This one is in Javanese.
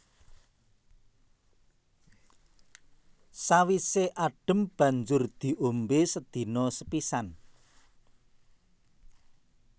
Sawisé adhem banjur diombé sedina sepisan